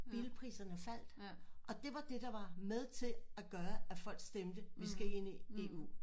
Bilpriserne faldt og det var det der var med til at gøre at folk stemte vi skal ind i EU